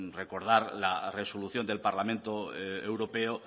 recordar la resolución del parlamento europeo